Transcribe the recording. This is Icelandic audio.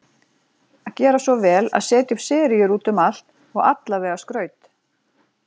Gera svo vel að setja upp seríur út um allt og allavega skraut.